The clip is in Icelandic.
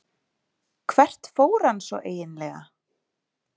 Hvert fór hann svo eiginlega?